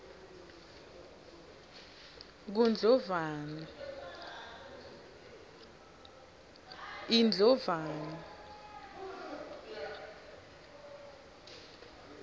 kundlovana